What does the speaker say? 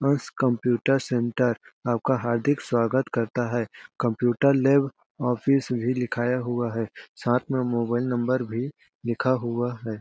Computer centre आपका हार्दिक स्वागत करता है। कंप्यूटर लैब ऑफिस भी लिखाया हुआ है साथ में मोबाइल नंबर भी लिखा हुआ है।